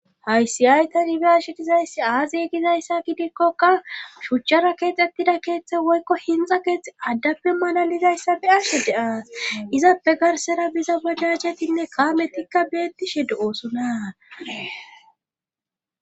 Haysi aytanibiashe dizayssi aaziye gizayssa gidikkoka shuchchara keexxettida keeththe woykko hinxa keexxhe addappe mala lizayssa biashe deaas izappe garsera biza badachetinne kaametikka beettishe do'oosona.